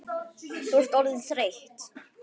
Þú ert orðin þreytt.